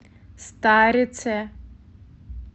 старице